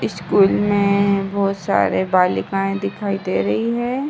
School में बोहोत सारे बालिकाएं दिखाई दे रही है ।